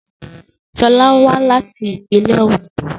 Sola wá láti ìpínlẹ́ Òndó